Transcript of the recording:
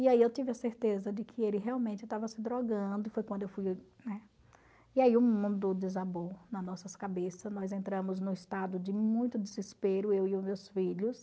E aí eu tive a certeza de que ele realmente estava se drogando, foi quando e aí o mundo desabou nas nossas cabeças, nós entramos num estado de muito desespero, eu e os meus filhos.